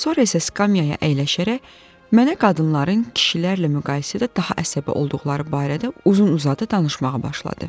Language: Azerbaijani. Sonra isə skamyaya əyləşərək mənə qadınların kişilərlə müqayisədə daha əsəbi olduqları barədə uzun-uzadı danışmağa başladı.